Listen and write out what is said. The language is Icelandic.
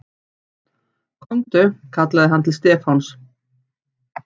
Komdu kallaði hann til Stefáns.